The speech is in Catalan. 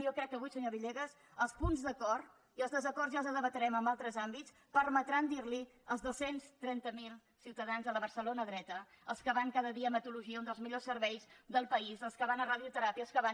i jo crec que avui senyor villegas els punts d’acord i els des·acords ja els debatrem en altres àmbits permetran dir·los als dos cents i trenta miler ciutadans de la barcelona dreta als que van cada dia a hematologia un dels millors serveis del país als que van a radioteràpia els que van